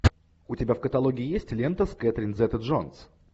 у тебя в каталоге есть лента с кэтрин зета джонс